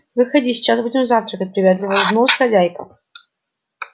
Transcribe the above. входи сейчас будем завтракать приветливо улыбнулась хозяйка